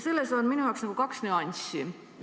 Siin on minu jaoks kaks nüanssi.